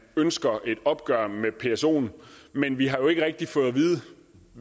ønsker et opgør med psoen men vi har jo ikke rigtig fået vide